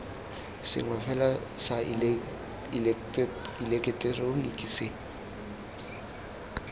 sengwe fela sa ileketeroniki se